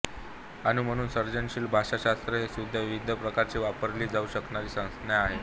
आणि म्हणून सर्जनशील भाषाशास्त्र हे सुद्धा विविध प्रकारे वापरली जाऊ शकणारी संज्ञा आहे